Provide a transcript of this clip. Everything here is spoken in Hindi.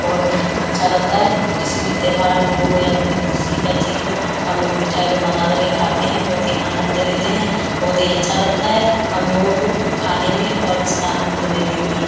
बहुत ही अच्छा लगता है। किसी भी त्यौहार हो या कोई ख़ुशी का चीज हो हम लोग मिठाई को माँगा करके खाते हैं। बहुत ही आनद लेते हैं बहुत ही अच्छा लगता है हमलोगों को खाने में और इसका आनंद लेने में।